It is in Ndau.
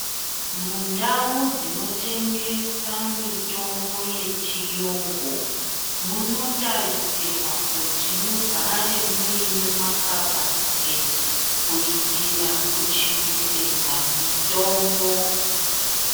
Mundau dzinotengesa mitombo yechiyungu munotarisirwa kuti mugare muine makabati kuitira kuchengetedza mitombo.